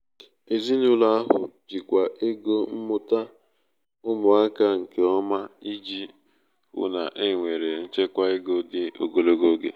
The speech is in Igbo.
ezinụlọ ahụ jikwaa ego mmụta ụmụaka nke ọma iji hụ na e nwere nchekwa ego dị ogologo oge.